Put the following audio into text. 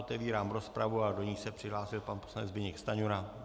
Otevírám rozpravu a do ní se přihlásil pan poslanec Zbyněk Stanjura.